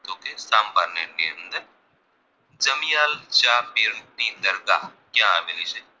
દમિયલ જાપીર ની દરગાહ ક્યાં આવેલી છે